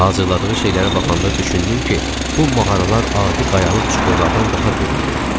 Hazırladığı şeylərə baxanda düşündüm ki, bu mağaralar adi qayalıq çuxurlardan daha böyükdür.